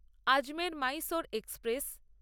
Ajmer Mysore express